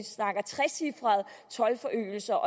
toldforøgelser